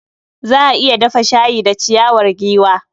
Za a iya dafa shayi da ciyawar giwa.